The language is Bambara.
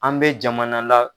An bɛ jamana la.